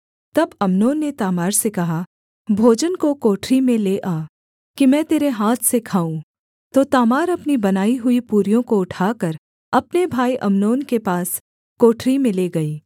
तब अम्नोन ने तामार से कहा भोजन को कोठरी में ले आ कि मैं तेरे हाथ से खाऊँ तो तामार अपनी बनाई हुई पूरियों को उठाकर अपने भाई अम्नोन के पास कोठरी में ले गई